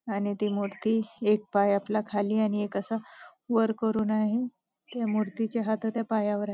आणि ती मूर्ती एक पाय आपला खाली आणि एक असा वर करून आहे त्या मूर्तीचे हात पायावर आहेत.